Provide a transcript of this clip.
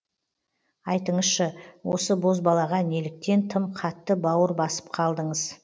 айтыңызшы осы бозбалаға неліктен тым қатты бауыр басып қалдыңыз